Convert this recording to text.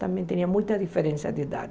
Também tinha muita diferença de idade.